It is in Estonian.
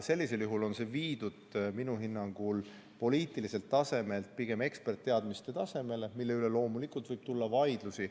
Sellisel juhul on see viidud minu hinnangul poliitiliselt tasemelt pigem eksperditeadmiste tasemele, mille üle loomulikult võib tulla vaidlusi.